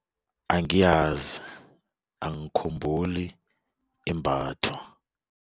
Angiyazi angikhumbuli imbathwa.